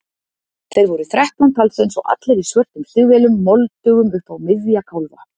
Þeir voru þrettán talsins og allir í svörtum stígvélum, moldugum upp á miðja kálfa.